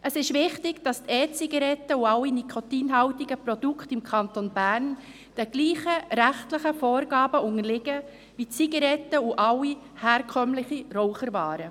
Es ist wichtig, dass die E-Zigaretten und alle nikotinhaltigen Produkte im Kanton Bern denselben rechtlichen Vorgaben unterliegen wie Zigaretten und alle herkömmlichen Raucherwaren.